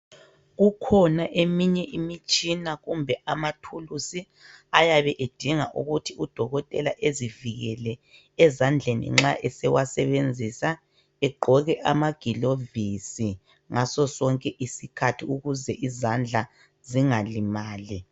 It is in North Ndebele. Kukhona eminye imitshina kumbe amathulusi ayabe edinga ukuthi udokotela ezivikele ezandleni nxa esewasebenzisa egqoke amagilovisi ngaso sonke isikhathi ukuze izandla zingalimali.